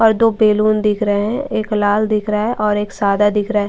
और दो बैलून दिख रहे हैं एक लाल दिख रहा है और एक सादा दिख रहा है।